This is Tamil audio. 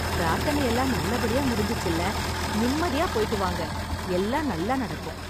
பிரார்த்தனைலாம் நல்ல படியா முடிஞ்சுச்சுல்ல. நிம்மதியா போயிட்டு வாங்க. எல்லாம் நல்லா நடக்கும்.